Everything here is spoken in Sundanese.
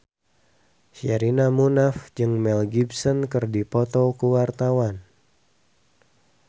Sherina Munaf jeung Mel Gibson keur dipoto ku wartawan